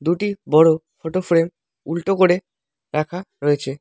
দুটি বড় photo frame উল্টো করে রাখা রয়েছে।